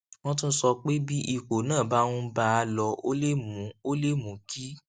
wón tún sọ pé bí ipò náà bá ń bá a lọ ó lè mú ó lè mú kí